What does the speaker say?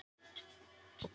Þú getur spurt hann.